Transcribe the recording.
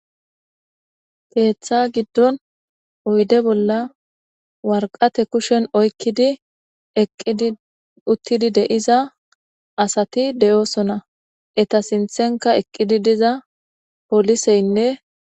Keeththa giddon oyide bolla warqate kushen oykkidi eqqidi uttidi de'iza asati de'oosona eta sinthenka eqqidi diza poliseynne